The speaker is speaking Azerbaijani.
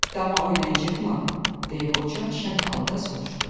Dama oynayacağıq mı, deyə qoca şən halda soruşdu.